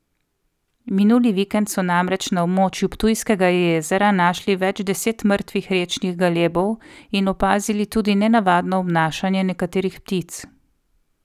Minuli vikend so namreč na območju Ptujskega jezera našli več deset mrtvih rečnih galebov in opazili tudi nenavadno obnašanje nekaterih ptic.